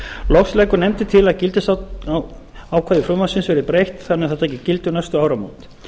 loks leggur nefndin til að gildistökuákvæði frumvarpsins verði breytt þannig að það taki gildi um næstu áramót